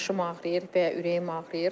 Başım ağrıyır və ya ürəyim ağrıyır.